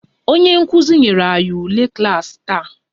Onye nkuzi nyere anyị ule klaasị taa